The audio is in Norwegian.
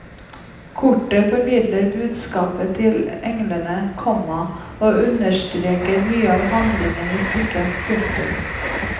Koret formidler budskapet til englene, komma og understreker mye av handlingen i stykket. punktum